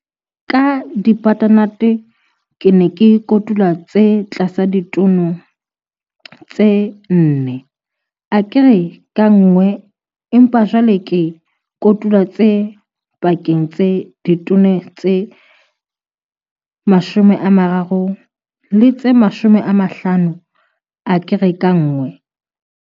Ka di-butternuts ke ne ke kotula tse tlasa ditone tse 4 akere ka nngwe empa jwale ke kotula tse pakeng tsa ditone tse 13 le tse 15 akere ka nngwe.